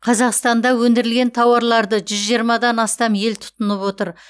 қазақстанда өндірілген тауарларды жүз жиырмадан астам ел тұтынып отыр